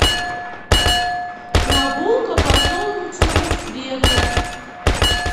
прогулка по солнечному свету